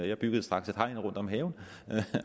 jeg byggede straks et hegn rundt om haven